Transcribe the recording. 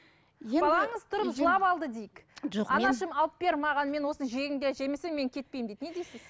анашым алып бер маған мен осыны жегім келеді жемесем мен кетпеймін дейді не дейсіз